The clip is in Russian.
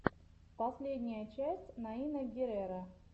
последняя часть наина герреро